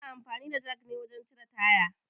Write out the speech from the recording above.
Ana amfani da jak ne wajen cire taya